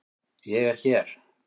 Ég er hér.